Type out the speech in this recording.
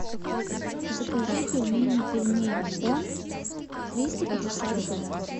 закажи пельмени пельмень он триста пятьдесят грамм